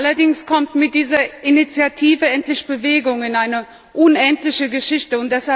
Allerdings kommt mit dieser Initiative endlich Bewegung in eine unendliche Geschichte.